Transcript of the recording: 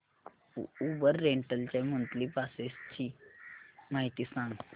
Uber rental च्या monthly passes ची माहिती सांग